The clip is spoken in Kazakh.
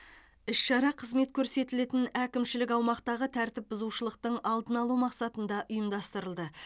іс шара қызмет көрсетілетін әкімшілік аумақтағы тәртіп бұзушылықтың алдын алу мақсатында ұйымдастырылды